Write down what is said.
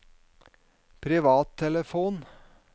privattelefon